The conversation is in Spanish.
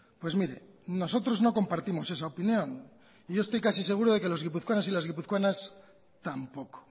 pues mire nosotros no compartimos esa opinión y yo estoy casi seguro de que los guipuzcoanos y las guipuzcoanas tampoco